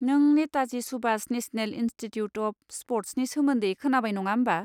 नों Netaji Subhash national institute of स्प'र्टसनि सोमोन्दै खोनाबाय नङा होमबा?